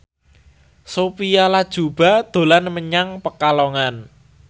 Sophia Latjuba dolan menyang Pekalongan